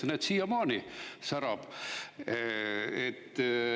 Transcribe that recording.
Ja näed, siiamaani särab.